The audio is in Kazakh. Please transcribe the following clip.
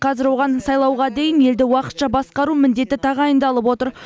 қазір оған сайлауға дейін елді уақытша басқару міндеті тағайындалып отыр